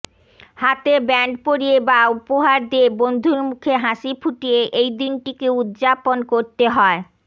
হাতে ব্যান্ড পরিয়ে বা উপহার দিয়ে বন্ধুর মুখে হাসি ফুটিয়ে এই দিনটিকে উদযাপন করতে হয়